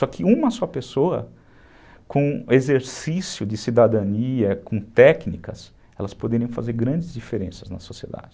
Só que uma só pessoa com exercício de cidadania, com técnicas, elas poderiam fazer grandes diferenças na sociedade.